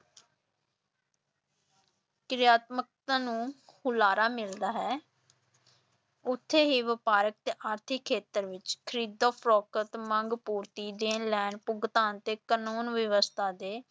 ਕਿਰਿਆਤਮਕਤਾ ਨੂੰ ਹੁਲਾਰਾ ਮਿਲਦਾ ਹੈ ਉੱਥੇ ਹੀ ਵਪਾਰਕ ਤੇ ਆਰਥਿਕ ਖੇਤਰ ਵਿਚ ਖ਼ਰੀਦ-ਫਰੋਖਤ, ਮੰਗ-ਪੂਰਤੀ, ਦੇਣ-ਲੈਣ, ਭੁਗਤਾਨ ਅਤੇ ਕਾਨੂੰਨ-ਵਿਵਸਥਾ ਦੇ